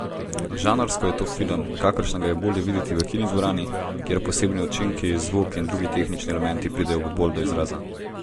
Žanrsko je to film, kakršnega je bolje videti v kinodvorani, kjer posebni učinki, zvok in drugi tehnični elementi pridejo bolj do izraza.